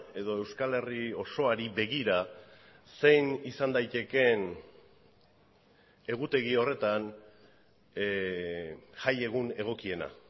edo euskal herri osoari begira zein izan daitekeen egutegi horretan jaiegun egokiena